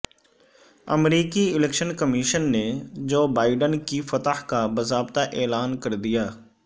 امریکی election commission نے Joe Biden کی فتح کا باضابطہ اعلان کر دیا